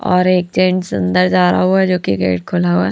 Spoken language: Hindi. और एक जेंट्स अंदर जा रहा हुआ है जो कि गेट खुला हुआ है।